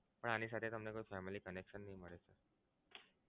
પણ આની સાથે તમને કોઈ family connection નહીં મળે.